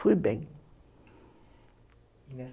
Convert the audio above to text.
Fui bem.